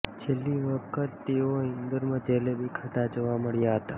છેલ્લી વખત તેઓ ઈન્દોરમાં જલેબી ખાતા જોવા મળ્યા હતા